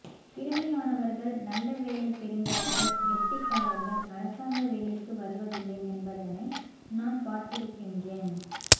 திறமையானவர்கள் நல்ல வேலை தெரிந்தவர்கள் கெட்டிக்காரர்கள் அரசாங்க வேலைக்கு வருவதில்லை என்பதனை நான் பார்த்திருக்கின்றேன்